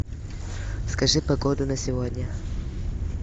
скажи погоду на сегодня